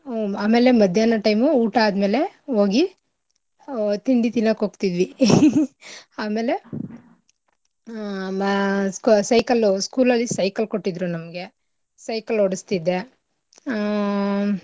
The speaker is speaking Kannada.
ಆಮೇಲೆ ಮಧ್ಯಾಹ್ನ time ಉ ಊಟ ಆದ್ಮೇಲೆ ಓಗಿ ತಿಂಡಿ ತಿನ್ನಕ್ ಹೋಗ್ತಿದ್ವಿ ಆಮೇಲೆ ಆಹ್ ಮ cycle ಉ school ಅಲ್ಲಿ cycle ಕೊಡ್ತಿದ್ರು ನಮ್ಗೆ cycle ಓಡಸ್ತಿದ್ದೆ ಆಹ್.